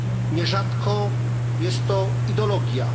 nierzadko jest to ideologia.